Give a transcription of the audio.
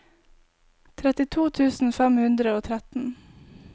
trettito tusen fem hundre og tretten